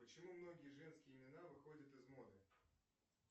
почему многие женские имена выходят из моды